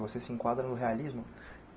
Você se enquadra no realismo?